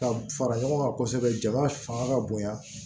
Ka fara ɲɔgɔn kan kosɛbɛ jama fanga ka bonya